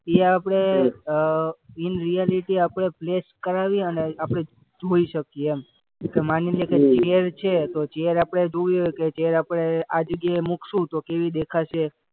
એ આપણે uh in reality આપણે flash કરાવી અને આપણે જોઈ શકીએ એમ. માની લે કે ચેર છે તો ચેર આપણે જોયું કે ચેર આપણે આ જગ્યાએ મૂકશું તો કેવી દેખાશે.